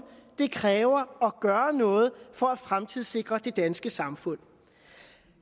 det kræver at gøre noget for at fremtidssikre det danske samfund